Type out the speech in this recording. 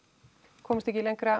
komumst ekki lengra